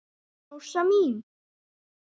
Rósa mín.